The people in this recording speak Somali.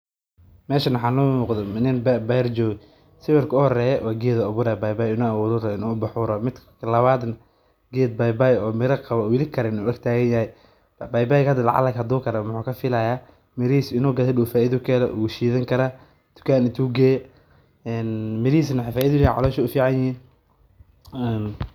Ma qeexi kartaa waxa halkan kasocdo waxaa noo muuqdo nin meel beer ah joogo mirahiisa wuu siidani karaa.